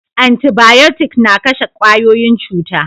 Antibayotic na kashe kwayoyin cuta